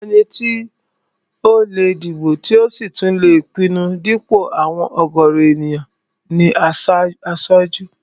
Ẹni tó lè dìbò tí ò sì tún lè pinnu dípò àwọn ọ̀gọ̀rọ̀ èèyàn ní aṣojú